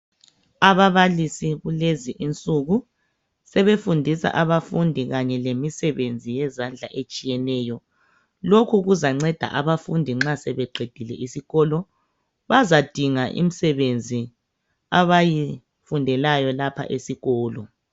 Ababalisi lezi insuku sebefundisa abafundi kanye lemsebenzi yezandla etshiyeneyo lokhu kuzanceda abafundi nxa sebeqedile esikolo bazadinga imisebenzi abayifundelayo lapha esikolo